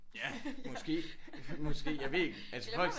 Ja måske måske jeg ved ikke altså folk